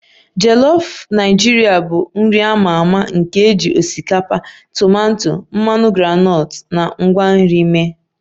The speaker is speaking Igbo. Jolof Naijiria bụ nri a ma ama nke e ji osikapa, tomato, mmanụ groundnut na ngwa nri mee